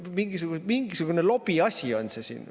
Mingisugune lobiasi on siin.